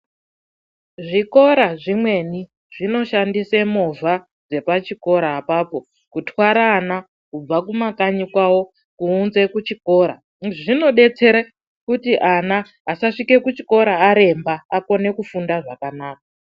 Zvikora zvimweni zvinoshandise movha dzepachikora apapo kutwara ana kubva kumakanyi kwawo kuunze kuchikora. Izvi zvinodetsera kuti ana asasvike kuchikora aremba akone kufunda zvakanaka.